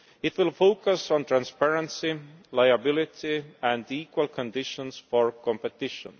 It will focus on transparency, liability and equal conditions for competition.